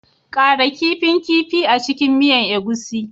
Ƙara kifin kifi a cikin miya egusi